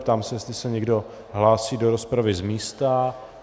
Ptám se, jestli se někdo hlásí do rozpravy z místa.